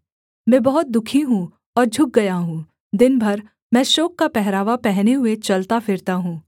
मैं बहुत दुःखी हूँ और झुक गया हूँ दिन भर मैं शोक का पहरावा पहने हुए चलता फिरता हूँ